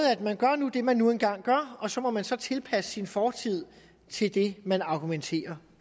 at man gør det man nu engang gør og så må man så tilpasse sin fortid til det man argumenterer